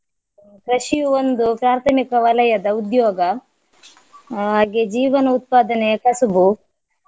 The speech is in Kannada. ಕೃಷಿಯು ಒಂದು ಪ್ರಾಥಮಿಕ ವಲಯದ ಉದ್ಯೋಗ ಹಾಗೆ ಜೀವನ ಉತ್ಪಾದನೆಯ ಕಸುಬು.